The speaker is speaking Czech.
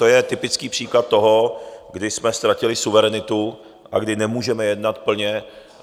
To je typický příklad toho, kdy jsme ztratili suverenitu a kdy nemůžeme jednat plně...